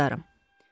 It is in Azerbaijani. Minnətdaram.